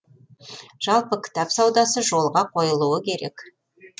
жалпы кітап саудасы жолға қойылуы керек